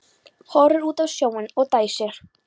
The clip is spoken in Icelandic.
Horfir út á sjóinn og dæsir.